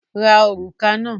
Ra òrùka náà!